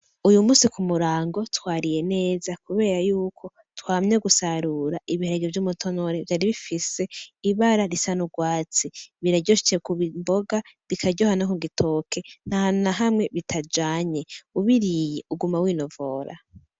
Uyu munsi ku murango twariye neza kubera yuko twamye gusarura ibiharage vy'umutonore vyari bifise ibara risa n'urwatsi ,Biraryoshe kubigira imboga bikaryoha no ku gitoke ntahantu n'ahamwe bitajanye ubiriye uguma w'inovora.